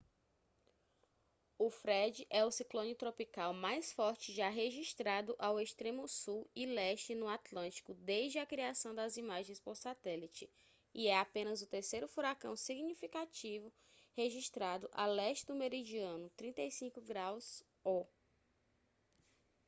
o fred é o ciclone tropical mais forte já registrado ao extremo sul e leste no atlântico desde a criação das imagens por satélite e é apenas o terceiro furacão significativo registrado a leste do meridiano 35° o